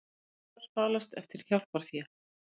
Svindlarar falast eftir hjálparfé